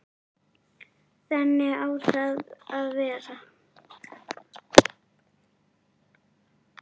Þannig á það að vera.